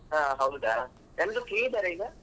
ಹಾ ಹೌದಾ ಎಲ್ರು free ಇದ್ದಾರಾ ಈಗ?